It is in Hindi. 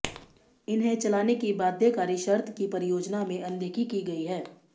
इन्हें चलाने की बाध्यकारी शर्त की परियोजना में अनदेखी की गई है